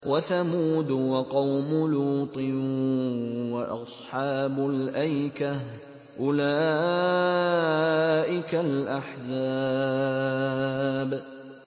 وَثَمُودُ وَقَوْمُ لُوطٍ وَأَصْحَابُ الْأَيْكَةِ ۚ أُولَٰئِكَ الْأَحْزَابُ